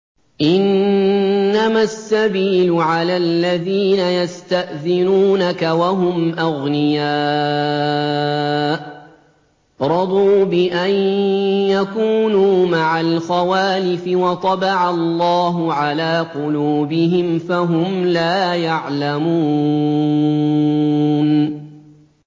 ۞ إِنَّمَا السَّبِيلُ عَلَى الَّذِينَ يَسْتَأْذِنُونَكَ وَهُمْ أَغْنِيَاءُ ۚ رَضُوا بِأَن يَكُونُوا مَعَ الْخَوَالِفِ وَطَبَعَ اللَّهُ عَلَىٰ قُلُوبِهِمْ فَهُمْ لَا يَعْلَمُونَ